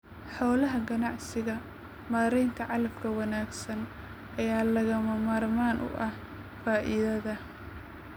Xoolaha ganacsiga, maaraynta calafka wanaagsan ayaa lagama maarmaan u ah faa'iidada.